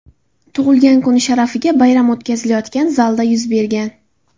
tug‘ilgan kuni sharafiga bayram o‘tkazilayotgan zalda yuz bergan.